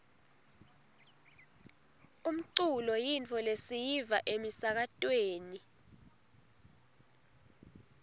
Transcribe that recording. umculo yintfo lesiyiva emisakatweni